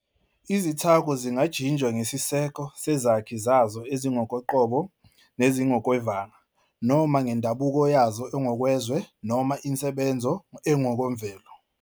Izithako zingajinjwa ngesiseko sezakhi zazo ezingokoqobo nezingokwevanga, noma ngendabuko yazo engokwezwe noma insebenzo engokwemvelo.